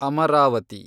Amaravati